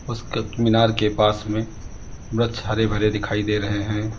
उस कत मीनार के पास में वृक्ष हरे भरे दिखाई दे रहे हैं।